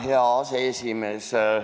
Hea aseesimees!